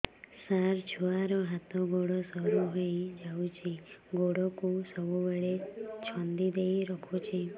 ସାର ଛୁଆର ହାତ ଗୋଡ ସରୁ ହେଇ ଯାଉଛି ଗୋଡ କୁ ସବୁବେଳେ ଛନ୍ଦିଦେଇ ରଖୁଛି